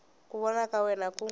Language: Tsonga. ku vona ka wena ku